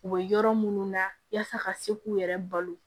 U bɛ yɔrɔ minnu na yaasa ka se k'u yɛrɛ balo